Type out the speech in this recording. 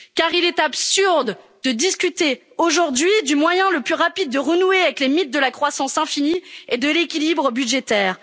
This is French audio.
En effet, il est absurde de discuter aujourd'hui du moyen le plus rapide de renouer avec les mythes de la croissance infinie et de l'équilibre budgétaire.